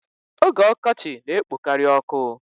Oge ọkọchị na-ekpokari ọkụ.